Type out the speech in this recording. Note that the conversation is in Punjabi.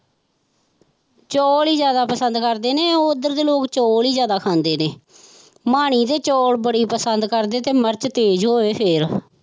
ਚੋਲ ਹੀ ਜਿਆਦਾ ਪਸੰਦ ਕਰਦੇ ਨੇ ਉੱਧਰ ਦੇ ਲੋਕ ਚੋਲ ਹੀ ਜਿਆਦਾ ਖਾਂਦੇ ਨੇ ਮਾਣੀ ਤੇ ਚੋਲ ਬੜੀ ਪਸੰਦ ਕਰਦੇ ਤੇ ਮਿਰਚ ਤੇਜ ਹੋਏ ਫਿਰ।